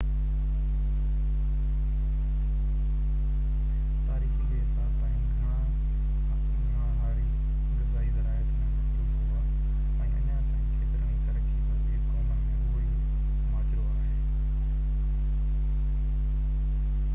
تاريخي جي حساب سان گهڻا هاري غذائي زراعت ۾ مصروف هئا ۽ اڃا تائين ڪيترن ئي ترقي پذير قومن ۾ اهو ئي ماجرو آهي